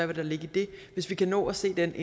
vil ligge i det hvis vi kan nå at se den